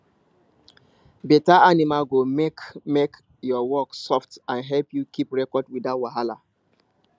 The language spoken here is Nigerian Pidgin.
better animal go make make your work soft and help you keep record without wahala